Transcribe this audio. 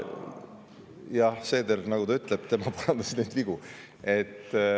Jah, nagu Seeder ütleb, tema korraldas neid vigu.